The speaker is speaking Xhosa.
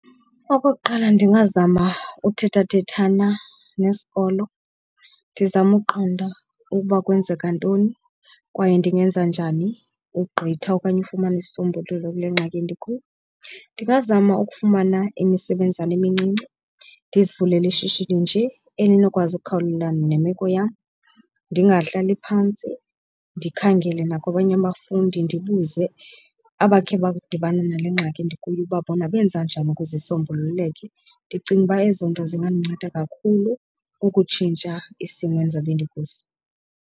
Okokuqala ndingazama uthethathethana nesikolo, ndizame ukuqonda ukuba kwenzeka ntoni kwaye ndingenza njani ugqitha okanye ufumana isisombululo kule ngxaki endikuyo. Ndingazama ukufumana imisebenzana emincinci ndizivulele ishishini nje elinokwazi ukhawulelana nemeko yam. Ndingahlali phantsi ndikhangele nakwabanye abafundi ndibuze abakhe badibana nale ngxaki ndikuyo ukuba bona benza njani ukuze isombululeke. Ndicinga uba ezo nto zingandinceda kakhulu ukutshintsha isimo endizabe ndikuso.